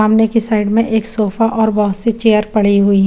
सामने की साइड में एक सोफा और बोहोत सी चेयर पड़ी हुई है।